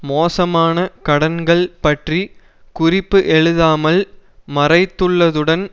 மோசமான கடன்கள் பற்றி குறிப்பு எழுதாமல் மறைத்துள்ளதுடன்